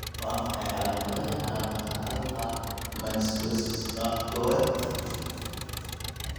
Waa maxay calaamadaha iyo calaamadaha Alpha mannosidosis nooca kowaad?